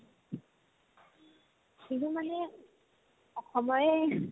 বিহু মানে অসমৰে